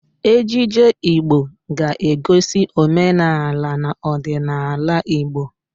Ejije Igbo ga-egosi omenaala na ọdịnaala Igbo